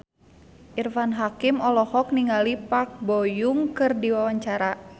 Irfan Hakim olohok ningali Park Bo Yung keur diwawancara